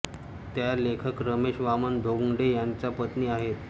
त्या लेखक रमेश वामन धोंगडे यांच्या पत्नी आहेत